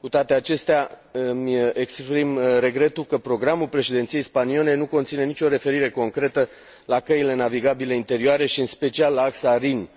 Cu toate acestea, îmi exprim regretul că programul președinției spaniole nu conține nicio referire concretă la căile navigabile interioare, în special la axa Rin